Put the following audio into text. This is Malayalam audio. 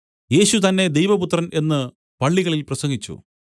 യേശു തന്നേ ദൈവപുത്രൻ എന്നു പള്ളികളിൽ പ്രസംഗിച്ചു